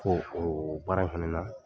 Ko o baara in fɛnɛ na,